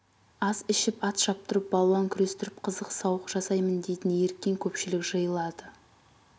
ас ішіп ат шаптырып балуан күрестіріп қызық сауық жасаймын дейтін еріккен көпшілік жиылады